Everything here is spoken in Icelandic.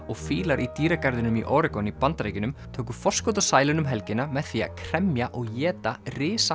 og fílar í dýragarðinum í Oregon í Bandaríkjunum tóku forskot á sæluna um helgina með því að kremja og éta